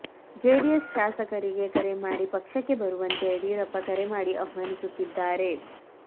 JDS ಶಾಸಕರಿಗೆ ಕರೆ ಮಾಡಿ ಪಕ್ಷಕ್ಕೆ ಬರುವಂತೆ ಯಡಿಯೂರಪ್ಪ ಕರೆ ಮಾಡಿ ಆಹ್ವಾನಿಸುತ್ತಿದ್ದಾರೆ